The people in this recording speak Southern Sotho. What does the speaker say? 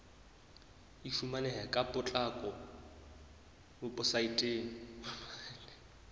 e fumaneha ka potlako weposaeteng